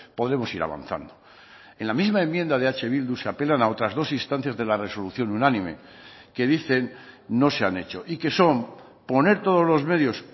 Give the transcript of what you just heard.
podemos ir avanzando en la misma enmienda de eh bildu se apelan a otras dos instancias de la resolución unánime que dicen no se han hecho y que son poner todos los medios